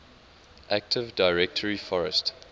active directory forest